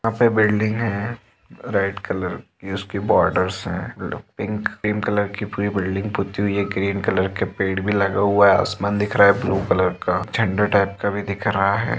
यहां पे बिल्डिंग है रेड कलर की उस की बॉर्डर्स हैं पिंक क्रीम की कलर की पूरी बिल्डिंग पुती हुई है ग्रीन कलर के पेड़ भी लगा हुआ है आसमान दिख रा है ब्लू कलर का झंडा टाइप का भी दिख रहा है।